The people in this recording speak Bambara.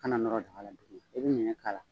Kana nɔɔrɔ daga la tugunni, i bɛ ɲɛgɛ k'ala.